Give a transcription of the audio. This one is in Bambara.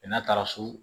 n'a taara so